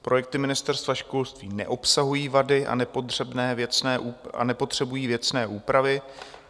Projekty Ministerstva školství neobsahují vady a nepotřebují věcné úpravy.